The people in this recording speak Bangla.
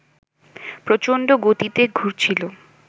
প্রচণ্ড গতিতে ঘুরছিল